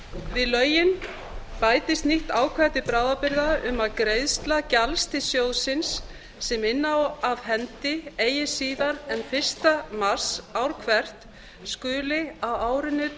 við lögin bætist nýtt ákvæði til bráðabirgða um að greiðsla gjalds til sjóðsins sem inna á af hendi eigi síðar en fyrsta mars ár hvert skuli á árinu